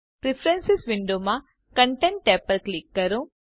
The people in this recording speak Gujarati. પ્રેફરન્સ વિન્ડોમાં કન્ટેન્ટ ટેબ પર ક્લિક કરો